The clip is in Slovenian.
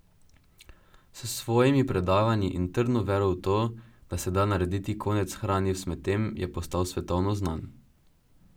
S svojimi predavanji in trdno vero v to, da se da narediti konec hrani v smetem, je postal svetovno znan.